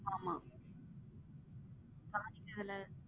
ஆமா கவனிக்கிறது இல்ல.